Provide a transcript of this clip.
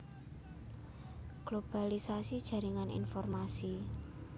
Globalisasi jaringan informasi